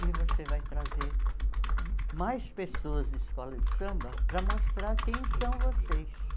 E você vai trazer mais pessoas de escola de samba para mostrar quem são vocês.